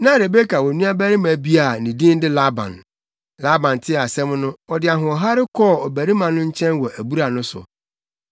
Na Rebeka wɔ nuabarima bi a ne din de Laban. Laban tee asɛm no, ɔde ahoɔhare kɔɔ ɔbarima no nkyɛn wɔ abura no so.